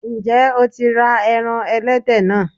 Ǹjẹ́ o tí ra ẹran ẹlẹ́dẹ̀ náà?